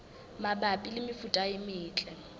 mabapi le mefuta e metle